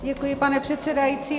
Děkuji, pane předsedající.